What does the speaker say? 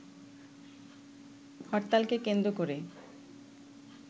হরতালকে কেন্দ্র করে